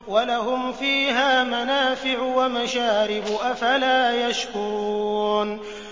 وَلَهُمْ فِيهَا مَنَافِعُ وَمَشَارِبُ ۖ أَفَلَا يَشْكُرُونَ